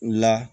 U la